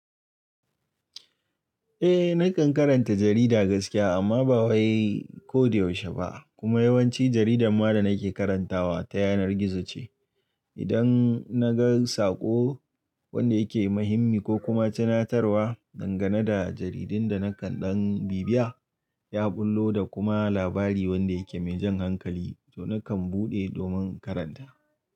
Eh nakan karanta jarida gaskiya amma ba wai ko da yaushe ba kuma yawanci jaridan ma da nake karantawa ta yanar gizo ce. Idan na ga sako wanda yake muhimmi ko kuma tunatarwa dangane da jaridin da nakan ɗan bibiya ya ɓullo da kuma labari wanda yake me jan hankali to nakan buɗe domin karanta.